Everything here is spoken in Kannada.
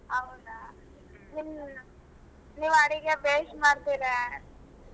ಹೌದಾ ನಿಮ್ ನೀವ್ ಅಡುಗೆ ಬೇಯಿಸಿ ಮಾಡ್ತೀರಾ.